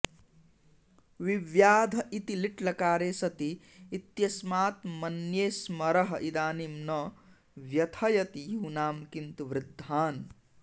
विव्याध इति लिट्लकारे सति इत्यस्मात् मन्ये स्मरः इदानीं न व्यथयति यूनां किन्तु वृद्धान्